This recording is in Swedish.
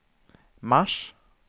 mars